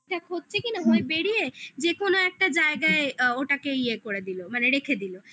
যাক হচ্ছে কি না ভয় বেরিয়ে যেকোনো একটা জায়গায় ওটাকে ইয়ে করে দিলো মানে রেখে দিলো